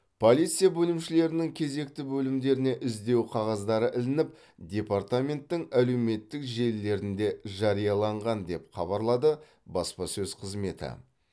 полиция бөлімшелерінің кезекші бөлімдеріне іздеу қағаздары ілініп департаменттің әлеуметтік желілерінде жарияланған деп хабарлады баспасөз қызметі